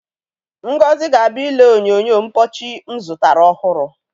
Ngozi ga-abịa ile onyonyo mpọchị m zụtara ọhụrụ.